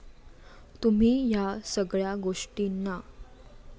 तुम्ही या सगळ्या गोष्टीना